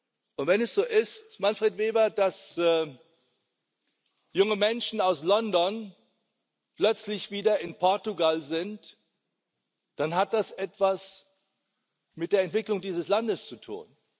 Und wenn es so ist, Manfred Weber, dass junge Menschen aus London plötzlich wieder in Portugal sind, dann hat das etwas mit der Entwicklung dieses Landes zu tun.